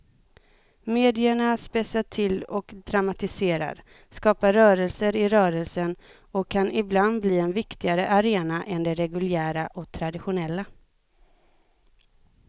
Medierna spetsar till och dramatiserar, skapar rörelser i rörelsen och kan ibland bli en viktigare arena än de reguljära och traditionella.